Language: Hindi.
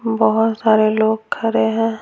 बहुत सारे लोग खड़े हैं।